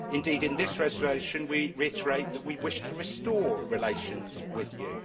Indeed, in this resolution we reiterate that we wish to restore relations with you.